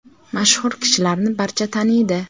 Mashhur kishilarni barcha taniydi.